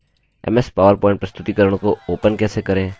ms powerpoint प्रस्तुतिकरण को open कैसे करें